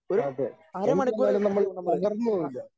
അതെ എന്തുവന്നാലും നമ്മൾ തകർന്നു പോവില്ല.